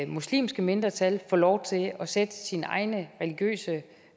muslimske mindretal får lov til at sætte sine egne religiøse